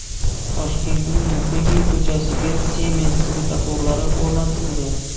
Toshkentning Muqimiy ko‘chasiga Siemens svetoforlari o‘rnatildi.